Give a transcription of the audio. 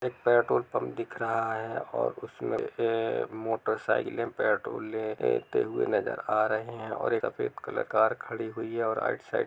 एक petrol pump दिख रहा है और उसमे एक मोटर साइकिलें पेट्रोल ले-लेते हुए नजर आ रहे है और एक सफेद कलर कार खड़ी हुई है और आइट साइड --